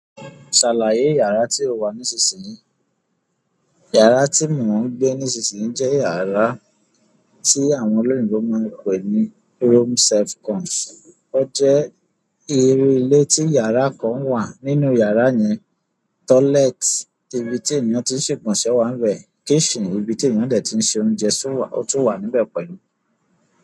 "Ṣàlàyé yàrá tí ó wà nísinsìnyì?" Yàrá tí mò ń gbé nísinsìnyì jẹ́ yàrá tí àwọn olóyìnbo máa ń pè ní room self-contained. Ó jẹ́ irú ilé tí yàrá kan wà nínú yàrá yẹn. Toilet, ibi ti eyan tin ṣe ìgbọ̀nsẹ̀ wa nbẹ. Kitcken, ibi ti eyan dẹ tin ṣe oúnjẹ tun wa o tun wa níbẹ̀ pẹ̀lú.